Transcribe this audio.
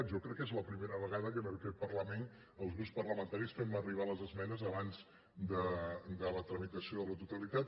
jo crec que és la primera vegada que en aquest parlament els grups parlamentaris fem arribar les esmenes abans de la tramitació de la totalitat